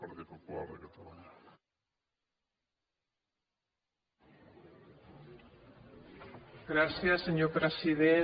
gràcies senyor president